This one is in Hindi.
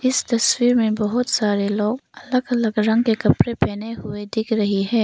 इस तस्वीर में बहुत सारे लोग अलग अलग रंग के कपड़े पहने हुए दिख रही है।